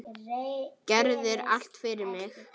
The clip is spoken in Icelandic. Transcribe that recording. Gerðir allt fyrir mig.